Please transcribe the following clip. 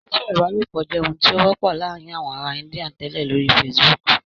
Sísọ̀rọ̀ ìbálòpọ̀ jẹ́ ohun tí ó wọ́pọ̀ láàárín àwọn ará Índíà tẹ́lẹ̀ lórí Facebook